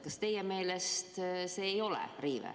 Kas teie meelest see ei ole riive?